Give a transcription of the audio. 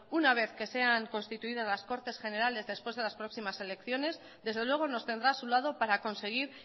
una vez que sean constituidas las cortes generales después de las próximas elecciones desde luego nos tendrá a su lado para conseguir